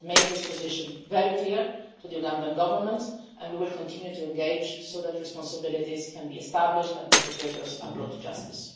We've made this position very clear to the Ugandan Government and we will continue to engage with it so that responsibilities can be established and perpetrators are brought to justice.